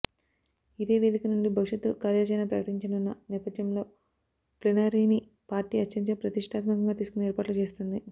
ఇదే వేధిక నుండి భవిష్యత్తు కార్యాచరణ ప్రకటించనున్న నేపథ్యంలో ప్లీనరీని పార్టీ అత్యంత ప్రతిష్టాత్మకంగా తీసుకుని ఏర్పాట్లు చేస్తుంది